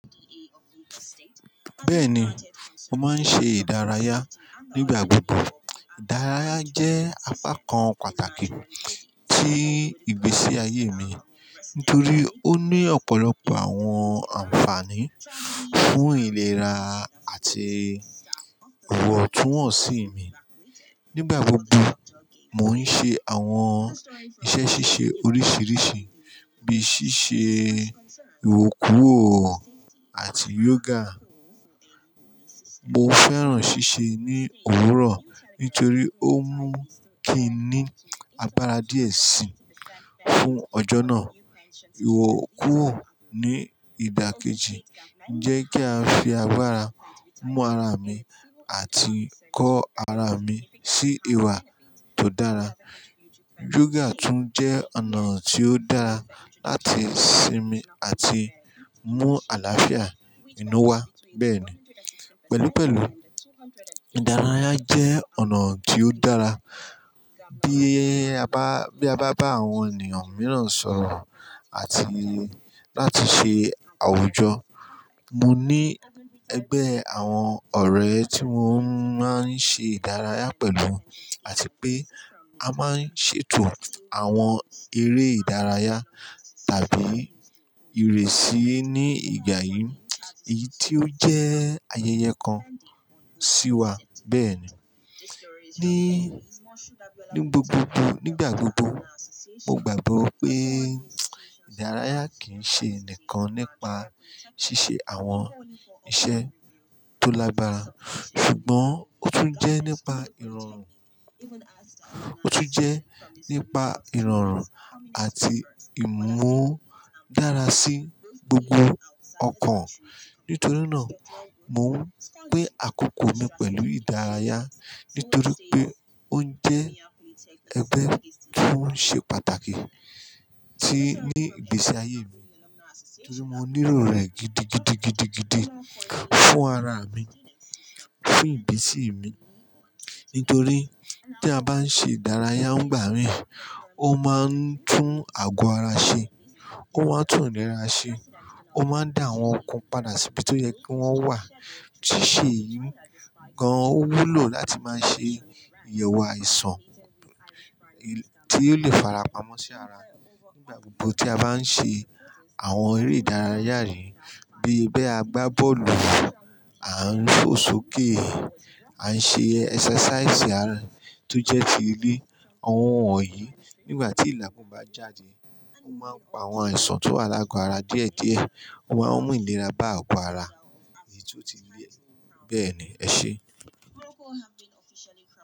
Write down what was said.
Bẹ́ẹ̀ni, mo máa ń ṣe ìdárayá nígbà gbogbo. Ìdárayá jẹ́ apá kan pàtàkì tí ìgbésí ayé mi, nítorí ó ní ọ̀pọ̀lọpọ̀ àwọn ànfààní fún ìlera àti wọ̀túnwọ̀nsí mi. Nígbà gbogbo, mò ń ṣe àwọn iṣẹ́ ṣíṣe oríṣiiríṣii, bíi ṣíṣe ìwọkùwò àti yoga. Mo fẹ́ràn ṣíṣe ní òwúrọ̀ nítorí ó mú kí n ní agbára díẹ̀ sí fún ọjọ́ náà. Ìwọkùwò ní ìdákẹ́jì jẹ́ kí a fi agbára mú ara mi àti kọ́ ara mi sí ìwà tó dára. Yoga tún jẹ́ ọ̀nà tí ó dára láti síìnmi àti mú àlàáfíà inú wá bẹ́ẹ̀ni. Pẹ̀lú pẹ̀lú, ìdárayá jẹ́ ọ̀nà tí ó dára. Bí a bá, bí a bá bá àwọn ènìyàn mìíràn sọ̀rọ̀ àti láti ṣe àwùjọ. Mo ní ẹgbẹ́ àwọn ọ̀rẹ́ tí mo máa ń ṣe ìdárayá pẹ̀lú àti pé a máa ń ṣètò àwọn eré ìdárayá tàbí ìrẹsì ní ìgbà yìí, èyí tí ó jẹ́ ayẹyẹ kan sí wa bẹ́ẹ̀ni. Ni, níbí gbogbogbò, nígbà gbogbo, mo gbàgbọ́ pé ìdárayá kì ń ṣe nìkan nípa ṣíṣe àwọn iṣẹ́ tó lágbára ṣùgbọ́n ó tún jẹ́ nípa ìrọ̀rùn, ó tún jẹ́ nípa ìrọ̀rùn àti ìmú dára sí gbogbo ọkàn. Nítorí náà, mò ń gbé àkókò mi pẹ̀lú ìdárayá nítorí pé ó ń jẹ́ ẹgbẹ́ tó ń ṣe pàtàkì tí ní ìgbésí ayé mi. Nítorí mo nílò rẹ̀ gidigidigidigidi fún ara mi, fún ìgbésí mi. Nítorí tí a bá ń ṣe ìdárayá nígbà mìí, ó máa ń tún àgọ́ ara ṣe, ó máa ń tún ìlera ṣe, ó máa ń dá àwọn ọkún padà sí ibi tó yẹ kí wọ́n wà. Ṣíṣe yìí gan wúlò láti máa ṣe ìyẹ̀wò àìsàn. Tí yóò lè fara pamọ́ sí ara. Nígbà gbogbo tí a bá ń ṣe àwọn eré ìdárayá yìí bíi bẹ́ẹ̀ a gbá bọ́ọ̀lù, à ń fó sókè. À ń ṣe ẹsẹsẹsíìsì àárọ̀ tó jẹ́ ti ilé, àwọn ohun wọ̀nyí nígbà tí ìlàkùn bá jáde, ó máa ń pa àwọn àìsàn tó alágọ ara díẹ̀díẹ̀, ó máa ń mú ìlera bá àgọ́ ara èyí tó ti lé bẹ́ẹ̀ni. Ẹ ṣe.